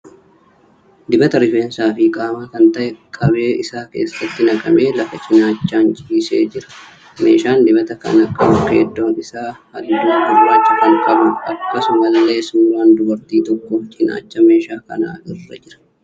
Dibata rifeensaa fi qaamaa kan ta'e qabee isaa keessatti naqamee lafa cinaachaan ciisaa jira. Meeshaan dibata kana qabu keeddoon isaa halluu gurraacha kan qabuudha. Akkasumallee suuraan dubartii tokkoo cinaacha meeshaa kanaa irra jira.